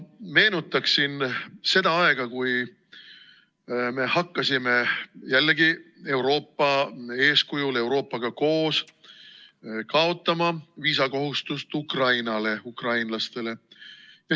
Ma meenutaksin seda aega, kui me hakkasime, jällegi Euroopa eeskujul, Euroopaga koos, kaotama viisakohustust Ukrainale, ukrainlastele.